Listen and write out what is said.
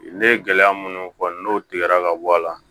Ne ye gɛlɛya minnu fɔ n'o tigɛra ka bɔ a la